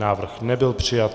Návrh nebyl přijat.